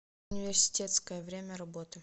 университетская время работы